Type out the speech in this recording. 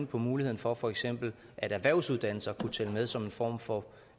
på muligheden for at for eksempel erhvervsuddannelser kunne tælle med som en form for